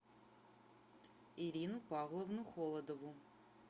ирину павловну холодову